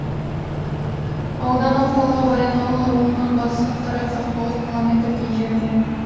аудан орталығы баянауыл ауылынан батысқа қарай қырық тоғыз километрдей жерде